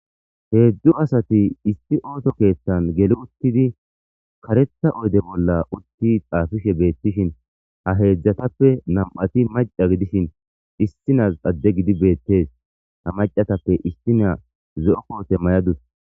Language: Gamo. Heedzdzu asati issi ooso keeththan geli uttidi karetha oyde bolla utti xaafishe beettishin ha heedzdzatappe nam7ati maca gidishin issi nazi adde gidi beettes. Ha macatappe issiniya zo7o koote mayadus.